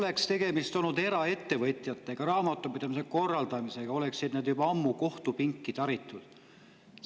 Kui tegemist oleks olnud eraettevõtjatega, nende raamatupidamise korraldamisega, siis oleksid nad juba ammu kohtupinki taritud.